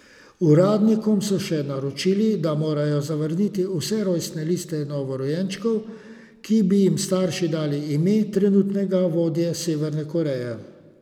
Uradnikom so še naročili, da morajo zavrniti vse rojstne liste novorojenčkov, ki bi jim starši dali ime trenutnega vodje Severne Koreje.